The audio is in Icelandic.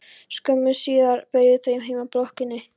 Skömmu síðar beygðu þau heim að blokkinni.